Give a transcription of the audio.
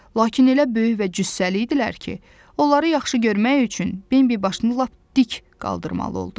Lakin elə böyük və cüssəli idilər ki, onları yaxşı görmək üçün Bembi başını lap dik qaldırmalı oldu.